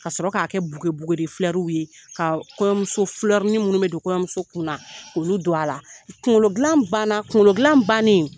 Ka sɔrɔ k'a kɛ ye ka kɔɲɔmuso minnu bɛ don kɔɲɔmuso kunna k'olu don a la kunkolo gilan ban na kunkolo gilan bannen